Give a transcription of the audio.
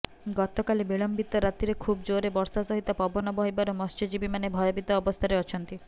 ଗତକାଲି ବିଳମ୍ବିତ ରାତିରେ ଖୁବ ଜୋରରେ ବର୍ଷା ସହିତ ପବନ ବହିବାରୁ ମତ୍ସ୍ୟଜୀବୀ ମାନେ ଭୟଭୀତ ଅବସ୍ଥାରେ ଅଛନ୍ତି